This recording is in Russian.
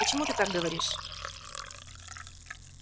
почему ты так говоришь